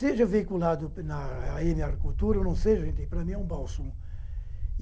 Seja veiculado na á eme Agricultura ou não seja, para mim é um bálsamo.